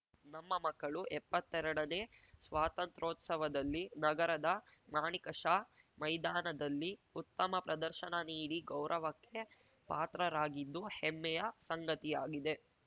ನಮ್ಮ ಮಕ್ಕಳು ಎಪ್ಪತ್ತೆರಡನೇ ಸ್ವಾತಂತ್ರೋತ್ಸವದಲ್ಲಿ ನಗರದ ಮಾಣಿಕ ಷಾ ಮೈದಾನದಲ್ಲಿ ಉತ್ತಮ ಪ್ರದರ್ಶನ ನೀಡಿ ಗೌರವಕ್ಕೆ ಪಾತ್ರರಾಗಿದ್ದು ಹೆಮ್ಮೆಯ ಸಂಗತಿಯಾಗಿದೆ